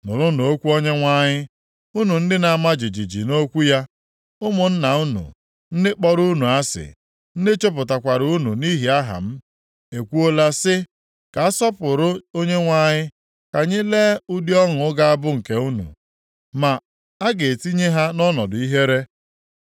Nụrụnụ okwu Onyenwe anyị, unu ndị na-ama jijiji nʼokwu ya, “Ụmụnna unu, ndị kpọrọ unu asị, ndị chụpụkwara unu nʼihi aha m, ekwuola sị, ‘Ka a sọpụrụ Onyenwe anyị! Ka anyị lee ụdị ọṅụ ga-abụ nke unu!’ Ma a ga-etinye ha nʼọnọdụ ihere.